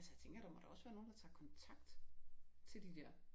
Altså jeg tænker der må da også være nogen der tager kontakt til de der